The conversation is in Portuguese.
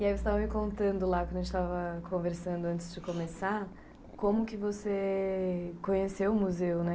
E aí você estava me contando lá, quando a gente estava conversando antes de começar, como que você conheceu o museu, né?